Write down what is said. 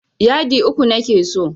Yadi uku nake so.